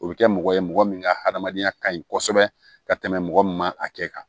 O bɛ kɛ mɔgɔ ye mɔgɔ min ka hadamadenya kaɲi kosɛbɛ ka tɛmɛ mɔgɔ min ma a kɛ kan